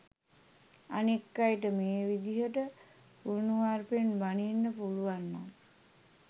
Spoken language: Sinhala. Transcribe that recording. අනෙක් අයට මේ විදිහට කුණුහරුපෙන් බණින්න පුළුවන්නම්